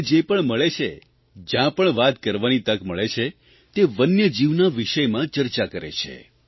અને જે પણ મળે છે જયાં પણ વાત કરવાની તક મળે છે તે વન્યજીવનના વિષયમાં ચર્ચા કરે છે